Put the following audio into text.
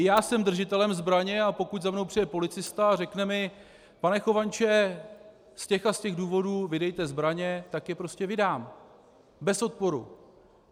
I já jsem držitelem zbraně, a pokud za mnou přijde policista a řekne mi pane Chovanče, z těch a z těch důvodů vydejte zbraně, tak je prostě vydám, bez odporu.